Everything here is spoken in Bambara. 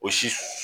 O si